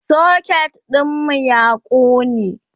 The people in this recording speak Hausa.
socket ɗinmu ya ƙone